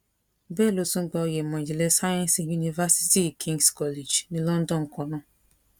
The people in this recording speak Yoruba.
bẹẹ ló tún gba oyè ìmọ ìjìnlẹ sáyẹǹsì ní yunifásitì kings college ní london kan náà